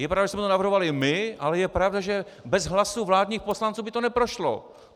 Je pravda, že jsme to navrhovali my, ale je pravda, že bez hlasů vládních poslanců by to neprošlo.